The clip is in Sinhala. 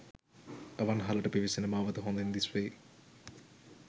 අවන්හලට පිවිසෙන මාවත හොදින් දිස්වේ.